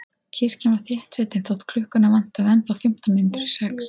Kirkjan var þéttsetin þótt klukkuna vantaði ennþá fimmtán mínútur í sex.